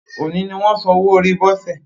Òní ni wọ́n san owó orí Bose